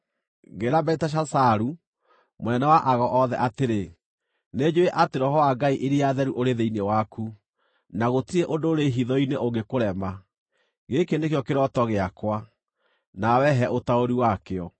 Ngĩĩra Beliteshazaru, mũnene wa ago othe atĩrĩ, “Nĩnjũũĩ atĩ roho wa ngai iria theru ũrĩ thĩinĩ waku, na gũtirĩ ũndũ ũrĩ hitho-inĩ ũngĩkũrema. Gĩkĩ nĩkĩo kĩroto gĩakwa; nawe he ũtaũri wakĩo.